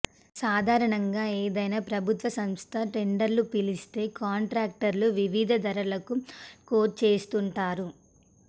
సాధారణంగా ఏదైనా ప్రభుత్వ సంస్థ టెండర్లు పిలిస్తే కాంట్రాక్టర్లు వివిధ ధరలకు కోట్ చేస్తుంటారు